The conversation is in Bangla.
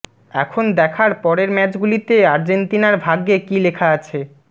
এখন দেখার পরের ম্যাচগুলিতে আর্জেন্তিনার ভাগ্যে কী লেখা আছে